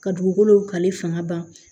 Ka dugukolo kalifa ban